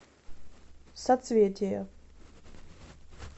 соцветие